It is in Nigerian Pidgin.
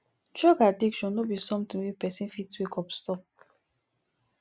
drug addiction no be somtin wey pesin fit wake up stop